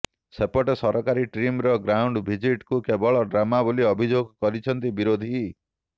ସେପଟେ ସରକାରୀ ଟିମ୍ର ଗ୍ରାଉଣ୍ଡ ଭିଜିଟ୍କୁ କେବଳ ଡ୍ରାମା ବୋଲି ଅଭିଯୋଗ କରିଛନ୍ତି ବିରୋଧୀ